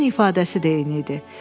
Üzün ifadəsi də eyni idi.